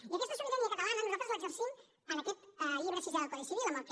i aquesta sobirania catalana nosaltres l’exercim en aquest llibre sisè del codi civil amb el que